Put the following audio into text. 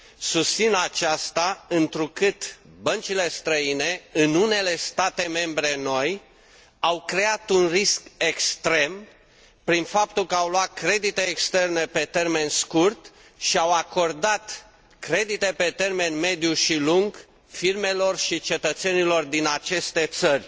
Susțin aceasta întrucât băncile străine, în unele state membre noi, au creat un risc extrem prin faptul că au luat credite externe pe termen scurt și au acordat credite pe termen mediu și lung firmelor și cetățenilor din aceste țări.